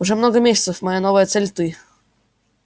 уже много месяцев моя новая цель ты